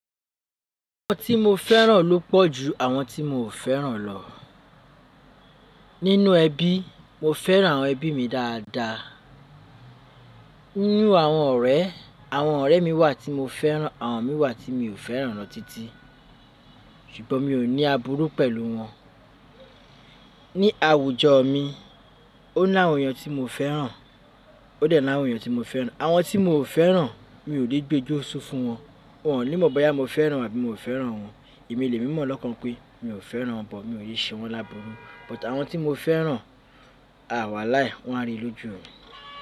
Àwọn tí mo fẹ́ràn ló pọ̀ ju àwọn tí mo ò fẹ́ràn lọ. Nínú ẹbí, mo fẹ́ràn àwọn ẹbí mi dáadáa. Nínú àwọn ọ̀rẹ́, àwọn ọ̀rẹ́ mi wà tí mo fẹ́ràn, àwọn mi wà tí mi ò fẹ́ràn lọ títí. Ṣùgbọ́n mi ò ní àbúrú pẹ̀lú wọn. Ni àwùjọ mi, ó ní àwọn èèyàn tí mo fẹ́ràn, ó dẹ̀ ni àwọn èèyàn tí mo fẹ́ràn. Àwọn tí mo ò fẹ́ràn, mi ò lè gbé jóṣó fún wọn. Wọn ò ní mọ̀ bóyá mo fẹ́ràn àbí mo ò fẹ́ràn wọn. Èmi lè mímọ̀ lọ́kan mi pé mi ò fẹ́ràn wọn but, mo ò lè ṣe wọn lábùrú. But àwọn tí mo fẹ́ràn, à wàláì, wọ́n á rí i lójú mi.